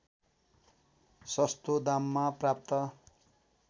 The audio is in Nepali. सस्तो दाममा प्राप्त